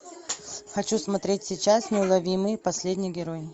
хочу смотреть сейчас неуловимые последний герой